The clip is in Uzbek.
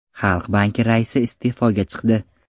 Xalq banki raisi iste’foga chiqdi.